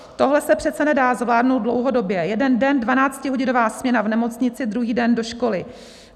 Tohle se přece nedá zvládnout dlouhodobě, jeden den dvanáctihodinová směna v nemocnici, druhý den do školy.